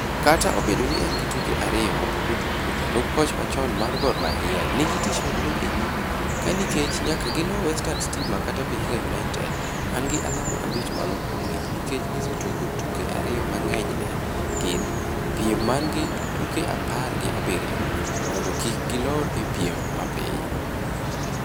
Kata obedo ni ne en gi tuke ariyo ma pok otugo, jalup koch machon mar Got Mahia nigi tich maduong' e nyime ka nikech nyaka gilo Western Stima kata Vihiga United, mangi alama abich malo kuomgi nikech gisetugo tuke ariyo mang'eny ne gin e piem mangi tuke apar gi abiriyo, mondo kik gilor e piem mapiny.